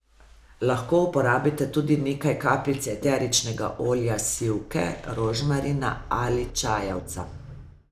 Lahko uporabite tudi nekaj kapljic eteričnega olja sivke, rožmarina ali čajevca.